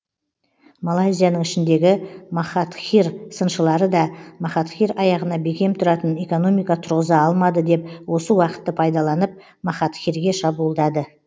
малайзияның ішіндегі махатхир сыншылары да махатхир аяғына бекем тұратын экономика тұрғыза алмады деп осы уақытты пайдаланып махатхирге шабуылдады